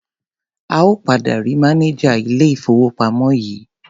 A ò padà rí mánejà ilé-ìfowópamọ́ yìí.